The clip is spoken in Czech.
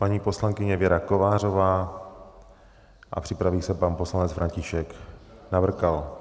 Paní poslankyně Věra Kovářová a připraví se pan poslanec František Navrkal.